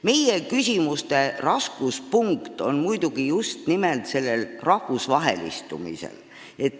Meie küsimuste raskuspunkt on just nimelt rahvusvahelistumisel.